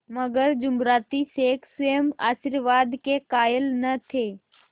मगर जुमराती शेख स्वयं आशीर्वाद के कायल न थे